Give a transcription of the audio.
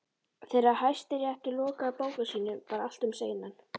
Þegar Hæstiréttur lokaði bókum sínum væri allt um seinan.